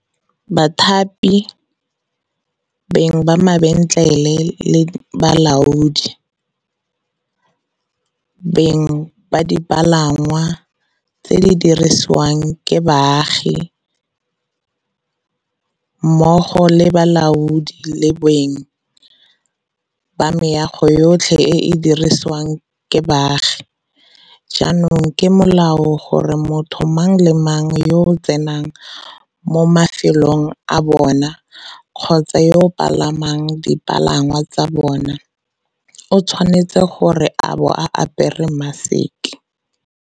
Bathapi, beng ba mabentlele le balaodi, beng ba dipalangwa tse di dirisiwang ke baagi, mmogo le balaodi le beng ba meago yotlhe e e dirisiwang ke baagi jaanong ke molao gore motho mang le mang yo a tsenang mo mafelong a bona kgotsa yo a palamang dipalangwa tsa bona o tshwanetse go bo a apere maseke.